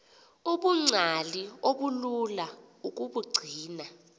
ubungcali obulula ukubugcina